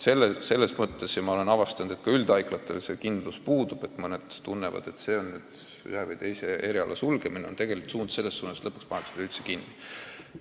Olen avastanud, et üldhaiglatel selles osas kindlus puudub – mõnel pool kardetakse, et ühe või teise eriala sulgemine on üldine suund ja lõpuks pannakse üldhaigla üldse kinni.